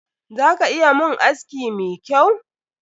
Za ka iya mun aski mi kyau?